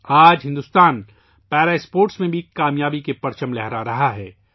آج Bharat para sports میں بھی کامیابی کے جھنڈے گاڑ رہا ہے